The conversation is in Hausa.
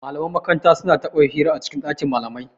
Malaman makaranta su na taɓa hira a cikin ɗakin malamai